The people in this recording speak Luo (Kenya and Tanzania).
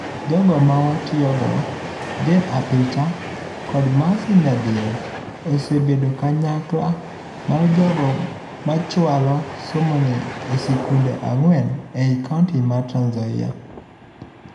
Jogo mawatiyogo Jane Apicha, kod Mercy Nyadiel osebed ekanyakla mar jogo machualo somoni e sikunde ang'wen ei kaunti ma Trans Nzoia.